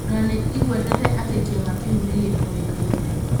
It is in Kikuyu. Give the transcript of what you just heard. O na nĩ ĩgwetete atĩ kĩama kĩu nĩ gĩtoĩkaine.